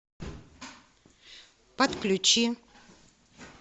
подключи